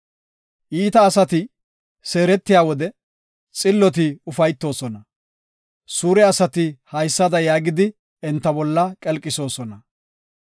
“Iita asati seeretiya wode, xilloti ufaytoosona; suure asati haysada yaagidi, enta bolla qelqisoosona.